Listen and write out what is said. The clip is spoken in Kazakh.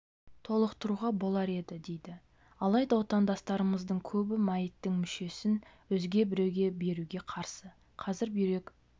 толықтыруға болар еді дейді алайда отандастарымыздың көбі мәйіттің мүшесін өзге біреуге беруге қарсы қазір бүйрек